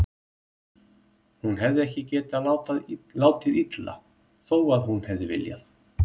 Hún hefði ekki getað látið illa, þó að hún hefði viljað.